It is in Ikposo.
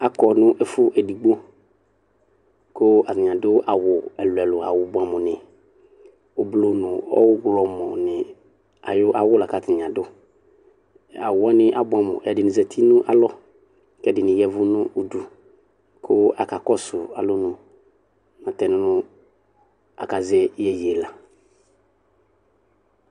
Akɔnʋ ɛfʋ edigbo kʋ atani adʋ awʋ ɛlʋ ɛlʋ ɛlʋ awʋ bʋɛamʋ ni ʋblɔ nʋ ɔwlɔmɔ ni ayʋ awʋ lakʋ atani adʋ awʋ wani abʋɛamʋ ɛdini zati nʋ kʋ ɛdini ni ya ɛvʋ nʋ ʋdʋ kʋ akakɔsʋ alʋnʋ nʋtɛ nʋ akazɛ iyeye la